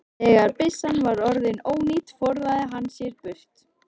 Þegar byssan var orðin ónýt forðaði hann sér burt.